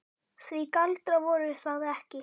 Því galdrar voru það ekki.